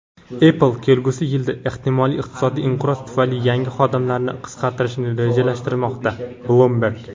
"Apple" kelgusi yilda ehtimoliy iqtisodiy inqiroz tufayli yangi xodimlarni qisqartirishni rejalashtirmoqda – "Bloomberg".